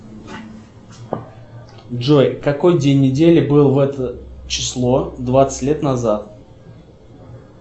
джой какой день недели был в это число двадцать лет назад